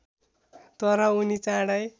तर उनी चाँडै